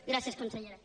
gràcies consellera